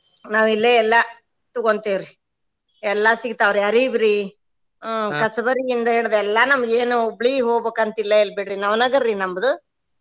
ನಾವ್ ಇಲ್ಲೆ ಎಲ್ಲಾ ತೂಗೋಂತೆವ್ರಿ ಎಲ್ಲಾ ಸಿಗ್ತಾವ್ರಿ ಅರೀಬ್ರಿ, ಹ್ಮ್ ಕಸಬರಗಿಯಿಂದ ಹಿಡ್ದ್ ಎಲ್ಲಾ ನಮ್ಗ್ ಏನ್ Hubli ಹೋಗಬೇಕ ಅಂತ ಇಲ್ಲ ಇಲ್ಲ ಬಿಡ್ರಿ ನವನಗಾರ್ರಿ ನಮ್ದು.